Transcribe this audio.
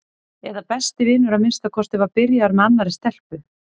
eða besti vinur að minnsta kosti var byrjaður með annarri stelpu.